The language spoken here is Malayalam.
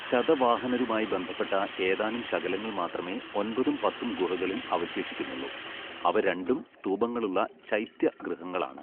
ശതവാഹനരുമായി ബന്ധപ്പെട്ട ഏതാനും ശകലങ്ങൾ മാത്രമേ ഒൻപതും പത്തും ഗുഹകളിൽ അവശേഷിക്കുന്നുള്ളൂ, അവ രണ്ടും സ്തൂപങ്ങളുള്ള ചൈത്യ ഗൃഹങ്ങളാണ്.